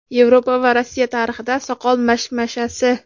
Yevropa va Rossiya tarixida soqol mashmashasi.